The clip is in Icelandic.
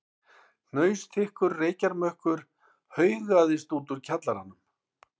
Hnausþykkur reykjarmökkur haugaðist út úr kjallaranum.